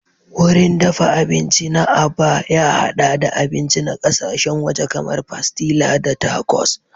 Wurin dafa abinci na Aba ya haɗa da abinci na ƙasashen waje kamar pastilla da tacos.